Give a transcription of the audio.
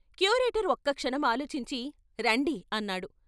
Curator ఒక్క క్షణం ఆలోచించి ' రండి ' అన్నాడు.